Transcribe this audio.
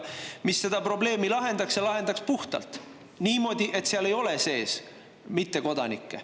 See lahendaks selle probleemi ja lahendaks puhtalt, niimoodi, et ei oleks mittekodanikke.